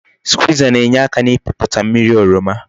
Skwiza na-enyeaka n'ipiputa mmiri oroma